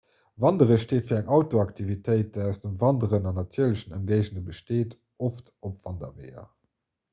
wanderen steet fir eng outdooraktivitéit déi aus dem wanderen an natierlechen ëmgéigende besteet oft op wanderweeër